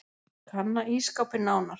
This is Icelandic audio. Kanna ísskápinn nánar.